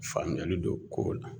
Faamuyali don kow la.